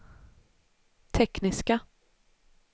tekniska